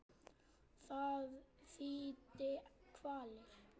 Það þýddi kvalir.